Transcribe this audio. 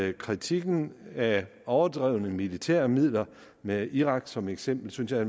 at kritikken af overdrevne militære midler med irak som eksempel synes jeg